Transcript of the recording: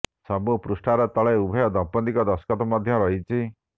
ସବୁ ପୃଷ୍ଠାର ତଳେ ଉଭୟ ଦମ୍ପତ୍ତିଙ୍କ ଦସ୍ତଖତ ମଧ୍ୟ ରହିଛି